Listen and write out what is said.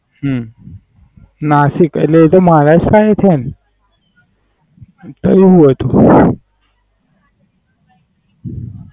હમ નાસિક એટલે એ તો મહારાષ્ટ્ર માં છે ન. કેવું હતું?